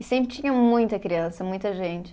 E sempre tinha muita criança, muita gente.